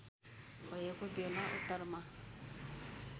भएको बेला उत्तरमा